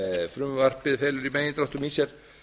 frumvarpið felur í megindráttum í sér